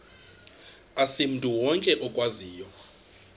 asimntu wonke okwaziyo